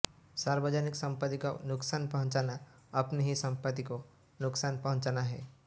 सार्वजनिक सम्पत्ति को नुकसान पहॅूचाना अपनी ही सम्पत्ति को नुकसान पहॅूचाना है